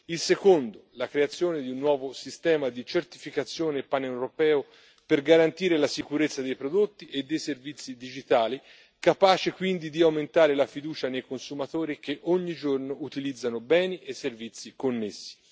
Il secondo la creazione di un nuovo sistema di certificazione paneuropeo per garantire la sicurezza dei prodotti e dei servizi digitali, capace quindi di aumentare la fiducia nei consumatori che ogni giorno utilizzano beni e servizi connessi.